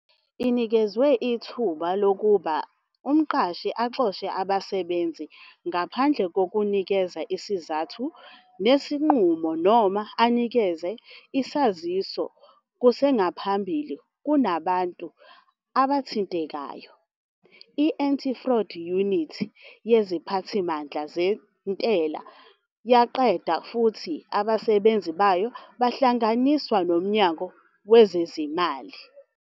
Inikeza ithuba lokuba umqashi axoshe abasebenzi ngaphandle kokunikeza izizathu zesinqumo noma anikeze isaziso kusengaphambili kubantu abathintekayo. I-anti-fraud unit yeziphathimandla zentela yaqedwa futhi abasebenzi bayo bahlanganiswa noMnyango Wezezimali.